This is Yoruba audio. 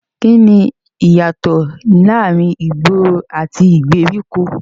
Kíni ìyàtò láàárín ìgboro àti ìgbèríko?